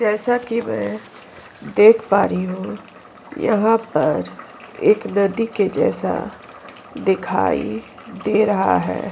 जैसा कि मैं देख पा रही हूं यहां पर एक नदी के जैसा दिखाई दे रहा है।